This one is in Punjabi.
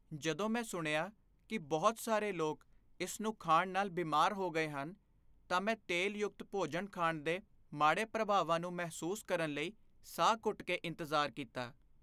ਜਦੋਂ ਮੈਂ ਸੁਣਿਆ ਕਿ ਬਹੁਤ ਸਾਰੇ ਲੋਕ ਇਸ ਨੂੰ ਖਾਣ ਨਾਲ ਬਿਮਾਰ ਹੋ ਗਏ ਹਨ, ਤਾਂ ਮੈਂ ਤੇਲ ਯੁਕਤ ਭੋਜਨ ਖਾਣ ਦੇ ਮਾੜੇ ਪ੍ਰਭਾਵਾਂ ਨੂੰ ਮਹਿਸੂਸ ਕਰਨ ਲਈ ਸਾਹ ਘੁੱਟ ਕੇ ਇੰਤਜ਼ਾਰ ਕੀਤਾ।